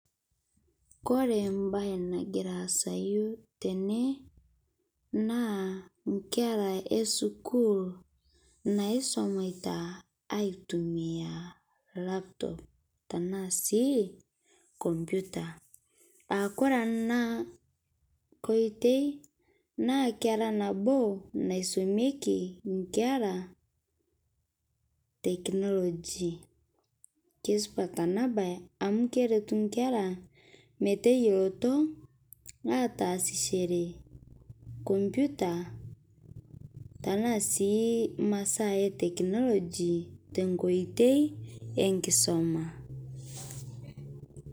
Kore baya nagira asayuu tene naa nkera e sukuul naisomita aitumia laptop tana sii kompyuta, aa kore ana nkotei naa keraa naboo naisomeki nkera teknoloji. Kesupaat ana baye amu keretuu nkera meteiyeloto atasishore kompyuta tana sii masaa e teknoloji te nkotei enkisoma.